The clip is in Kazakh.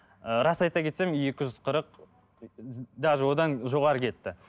ыыы рас айта кетсем екі жүз қырық даже одан жоғары кетті